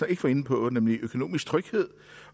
ikke var inde på nemlig økonomisk tryghed